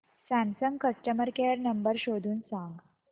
Samsung customer care number शोधून सांग